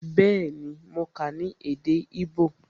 Bẹẹni, mo kà á ní èdè igbó